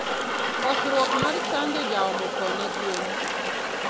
Kosruok mar chanjo jaomo thoo ne gwen.